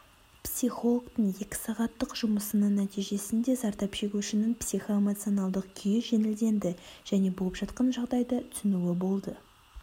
психологтың екі сағаттық жұмысының нәтижесінде зардап шегушінің психоэмоционалдық күйі жеңілденді және болып жатқан жағдайды түсінуі болды